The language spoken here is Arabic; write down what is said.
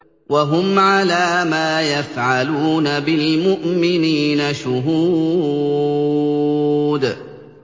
وَهُمْ عَلَىٰ مَا يَفْعَلُونَ بِالْمُؤْمِنِينَ شُهُودٌ